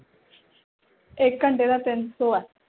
ਇਕ ਘੰਟੇ ਦਾ ਤਿੰਨ ਸੌ ਹੈ